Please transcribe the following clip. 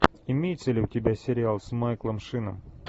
имеется ли у тебя сериал с майклом шином